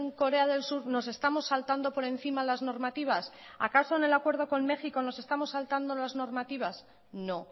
corea del sur nos estamos saltando por encima las normativas acaso en el acuerdo con méjico nos estamos saltando por encima las normativas no